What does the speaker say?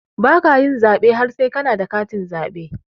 Baka yin zaɓe har sai kana da katin zaɓe